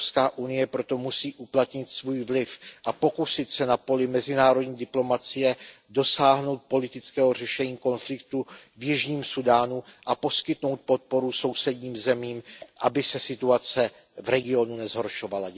EU proto musí uplatnit svůj vliv a pokusit se na poli mezinárodní diplomacie dosáhnout politického řešení konfliktu v Jižním Súdánu a poskytnout podporu sousedním zemím, aby se situace v regionu nezhoršovala.